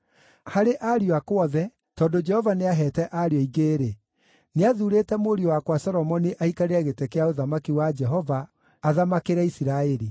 Harĩ ariũ akwa othe, tondũ Jehova nĩaheete ariũ aingĩ-rĩ, nĩathuurĩte mũriũ wakwa Solomoni aikarĩre gĩtĩ kĩa ũthamaki wa Jehova, athamakĩre Isiraeli.